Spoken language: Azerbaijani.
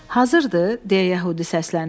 Hazırdı, deyə Yəhudi səsləndi.